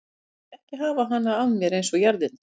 Ég læt þig ekki hafa hana af mér eins og jarðirnar.